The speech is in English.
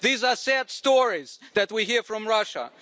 These are sad stories that we hear from Russia.